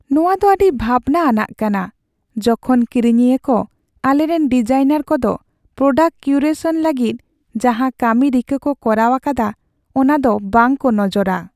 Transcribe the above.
ᱱᱚᱶᱟ ᱫᱚ ᱟᱹᱰᱤ ᱵᱷᱟᱵᱽᱱᱟ ᱟᱱᱟᱜ ᱠᱟᱱᱟ , ᱡᱚᱠᱷᱚᱱ ᱠᱤᱨᱤᱧᱤᱭᱟᱹ ᱠᱚ ᱟᱞᱮᱨᱮᱱ ᱰᱤᱡᱟᱭᱱᱟᱨ ᱠᱚᱫᱚ ᱯᱨᱳᱰᱟᱠᱴ ᱠᱤᱭᱩᱨᱮᱥᱚᱱ ᱞᱟᱹᱜᱤᱫ ᱡᱟᱦᱟᱸ ᱠᱟᱹᱢᱤ ᱨᱤᱠᱟᱹ ᱠᱚ ᱠᱚᱨᱟᱣ ᱟᱠᱟᱫᱟ ᱚᱱᱟ ᱫᱚ ᱵᱟᱝ ᱠᱚ ᱱᱚᱡᱚᱨᱟ ᱾